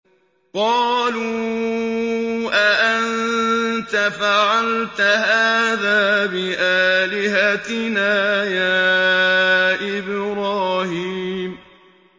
قَالُوا أَأَنتَ فَعَلْتَ هَٰذَا بِآلِهَتِنَا يَا إِبْرَاهِيمُ